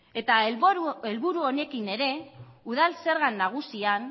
eta helburu honekin ere udal zerga nagusian